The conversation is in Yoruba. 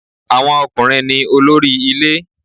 Àwọn ọkùnrin ní olórí ilé